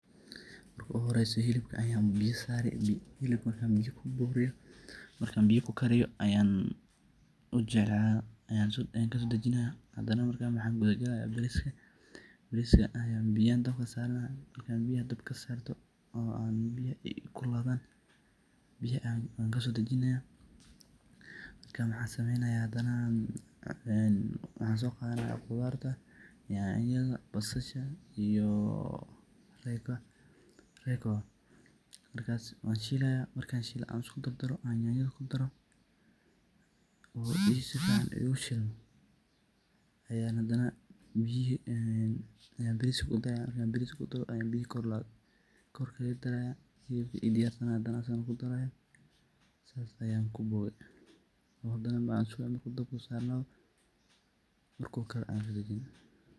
Marka uguhoreeysa hilibka ayaan biyo saari hilibaka. markaan biyo kuburiyo marka biyo kukariyo ayaan kasodajinaya hadana maxaan kudhagali bariiska. Bariska ayan biyo ayaan dabka saranaa, markan biyo dabka sarto oo aan biyaha ii kululaadhan biyaha aan kasodajinaya. Marka maxaan sameynaya waxaan sooqadhana qudhaarta nyanyadha basasha iyo reyko markas waan shiilaya markaan shiilo aan iskudardaro aan nyanyadha kudaro uu sifican igushilmo ayaan hadana biyihi ayaan bariska kudaraya markan bariska kudaro ayaan biyihi kululaa kor ugadarayaa hilibkiii diyaarka aah ayan hadane kudaraya , saas ayaan kuboge oo hadana markan sonoqdo dabka uu sarnadho markuu karo aan kadajinaa.